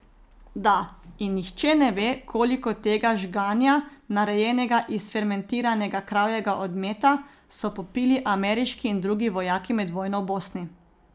Da in nihče ne ve, koliko tega žganja, narejenega iz fermentiranega kravjega odmeta, so popili ameriški in drugi vojaki med vojno v Bosni.